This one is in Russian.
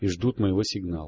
и ждут моего сигнал